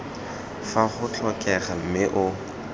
fa go tlhokega mme o